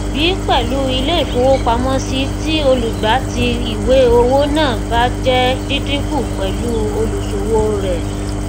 b pẹlú ilé ìfowópamọsí tí olùgbà tí ìwé owó náà bá jẹ dídíkùn pẹlú olùṣowóo rẹ